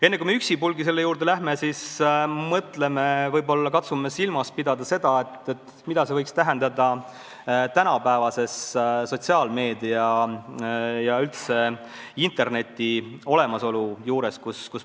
Enne, kui me üksipulgi selle juurde läheme, mõtleme, mida see võiks tähendada tänapäeval, kui on olemas sotsiaalmeedia ja üldse internet.